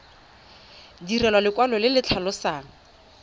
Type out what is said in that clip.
direlwa lekwalo le le tlhalosang